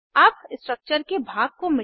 इसके साथ हम इस ट्यूटोरियल के अंत में आ गए हैं